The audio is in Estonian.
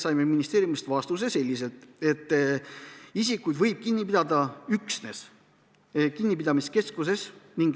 Selle peale saime ministeeriumist vastuse, et isikuid võib kinni pidada üksnes kinnipidamiskeskuses.